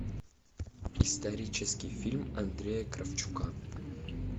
исторический фильм андрея кравчука